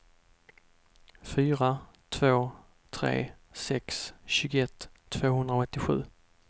fyra två tre sex tjugoett tvåhundraåttiosju